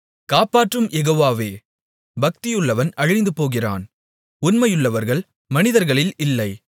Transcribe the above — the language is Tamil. காப்பாற்றும் யெகோவாவே பக்தியுள்ளவன் அழிந்துபோகிறான் உண்மையுள்ளவர்கள் மனிதர்களில் இல்லை